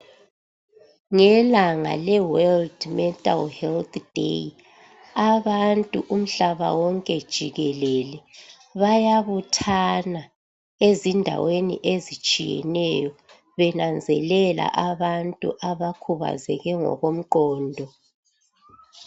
Ngelanga eWorld mental health day abantu umhlaba wonke jikelele bayabuthana ezindaweni ezitshiyeneyo benanzelela abantu abakhubazeke ngokomqondo.